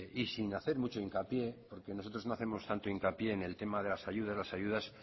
y sin hacer mucho hincapié porque nosotros no hacemos tanto hincapié en el tema de las ayudas las ayudas